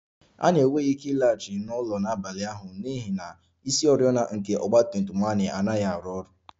Anyị enweghị ike ịlaghachi n'ụlọ n'abalị ahụ n'ihi na isioriọna nke ọgba tum tum anyị anaghị arụ ọrụ